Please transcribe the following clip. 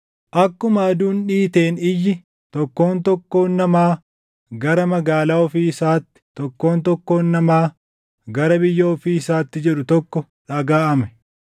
Akkuma aduun dhiiteen iyyi, “Tokkoon tokkoon namaa gara magaalaa ofii isaatti; tokkoon tokkoon namaa gara biyya ofii isaatti!” jedhu tokko dhagaʼame.